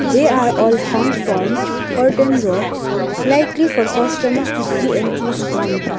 they are all hung from curtain rods likely for customers to see and choose from.